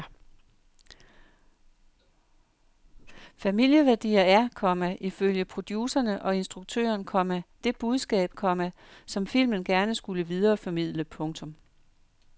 Familieværdier er, komma ifølge producerne og instruktøren, komma det budskab, komma som filmen gerne skulle videreformidle. punktum